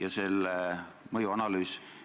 Austatud minister!